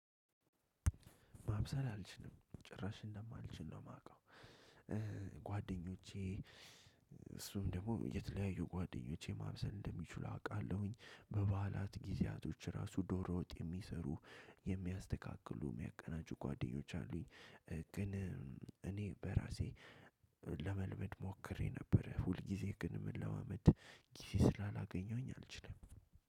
ማብሰል አልችልም ጭራሽ እንደማልችል ነው የማውቀው። ጓደኞቼ እሱ ደግሞ የተለያዩ ጓደኞቼ ማብሰል እንደሚችሉ አውቃለሁኝ። በበዓላት ጊዜያቶች ራሱ ዶሮ ወጥ የሚሰሩ የሚያስተካክሉ የሚያቀናጁ ጓደኞች አሉኝ። ግን እኔ በራሴ ለመልመድ ሞክሬ ነበር። ሁልጊዜ ግን ምን መለማመድ ግዜ ስላላገኘሁኝ አልችልም።